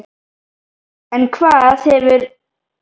En hvað hefur breyst núna fimmtán árum síðar?